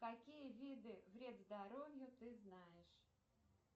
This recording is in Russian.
какие виды вред здоровью ты знаешь